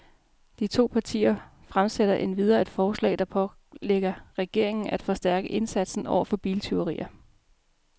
De to partier fremsætter endvidere et forslag, der pålægger regeringen af forstærke indsatsen over for biltyverier.